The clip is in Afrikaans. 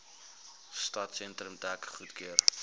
stadsentrum dek goedgekeur